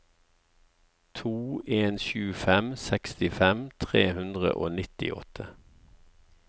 to en sju fem sekstifem tre hundre og nittiåtte